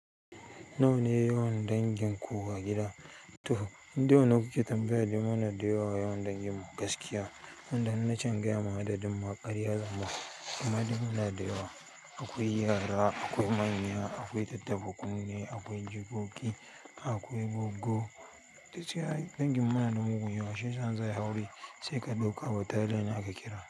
Nawa ne yawan dangin ku a gida? To, in dai wannann kuke tambaya da ya mana da yawa yawan dangin mu gaskiya, wanda in na can in gaya ma adi duk maƙaryar zamu. Amma dai muna da yawa, akwai yara, akwai manya, akwai tattaɓa kune, akwai jikoki, akwai goggo ta ce ai dangin mu muna da mugun yawa shi ya sa zan inyi aure sai ka ɗauka bataliyan ne aka kira.